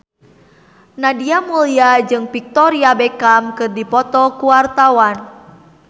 Nadia Mulya jeung Victoria Beckham keur dipoto ku wartawan